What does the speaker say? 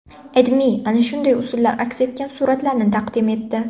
AdMe ana shunday usullar aks etgan suratlarni taqdim etdi .